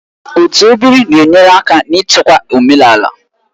Otu ebiri na-enyere aka n'ichekwa omenala